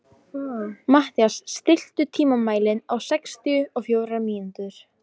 Mathías, stilltu tímamælinn á sextíu og fjórar mínútur.